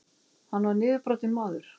Hann var niðurbrotinn maður.